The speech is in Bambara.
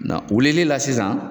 wilili la sisan